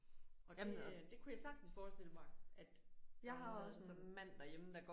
Og det øh det kunne jeg sagtens forestille mig at der var nogen der havde det sådan